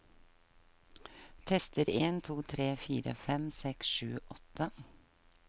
Tester en to tre fire fem seks sju åtte